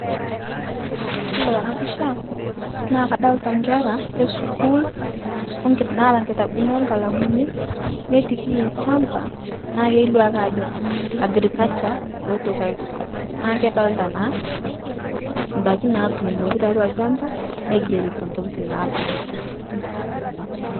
Iyolo tana pisha naa kadolita nkera eskul okit naata kitabuni okalamuni netikii lchamba naa keilio ake Ajo agriculture eotoki aisom naa kedolita naa ndaki naatunoki taatwa lchamba neigerito tokitin naadolita